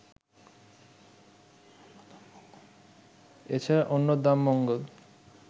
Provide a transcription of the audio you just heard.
এছাড়া অন্নদামঙ্গল